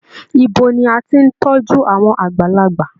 Ibo ni a tí n tọjú àwọn àgbàlagbà?